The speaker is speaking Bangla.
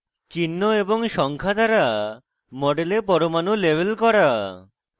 চিহ্ন এবং সংখ্যা দ্বারা model পরমাণু label করা